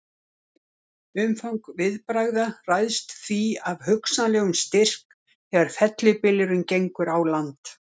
Umfang viðbragða ræðst því af hugsanlegum styrk þegar fellibylurinn gengur á land.